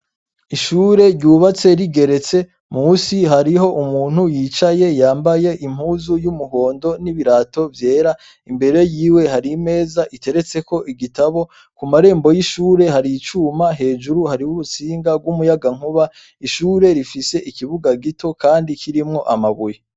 Ishure ryubatse rigeretse munsi hariho umuntu yicaye yambaye impuzu y'umuhondo n'ibirato vyera imbere yiwe hari imeza iteretseko igitabo ku marembo y'ishure hari icuma hejuru hariho urutsinga rw'umuyagankuba ishuri rifise ikibuga gito kandi kirimwo amabuye.